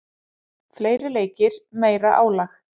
Fleiri leikir, meira álag.